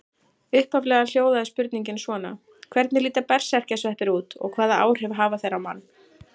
Upphaflega hljóðaði spurningin svona: Hvernig líta berserkjasveppir út og hvaða áhrif hafa þeir á mann?